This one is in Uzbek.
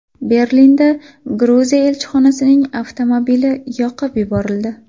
Berlinda Gruziya elchixonasining avtomobili yoqib yuborildi.